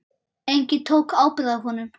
Enginn tók ábyrgð á honum.